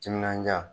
Timinandiya